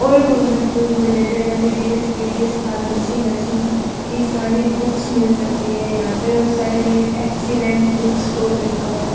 वोही government job related M B B S B D S pharmacy nursing की साड़ी books मिल सकती है यहां पे और साइड में एक्सलेंट बुक स्टोर लिखा हुआ है ।